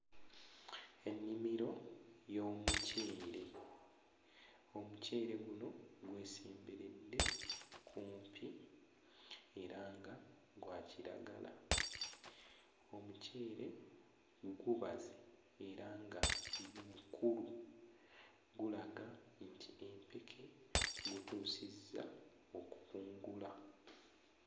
Ennimiro y'omuceere, omuceere guno gwesemberedde kumpi era nga gwa kiragala. Omuceere gubaze era nga gu... mukulu, gulaga nti empeke gutuusizza okukungula.